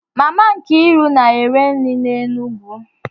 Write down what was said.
Mama Nkiru na-ere nri n'Enugwu